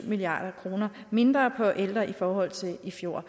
milliard kroner mindre på ældre i forhold til i fjor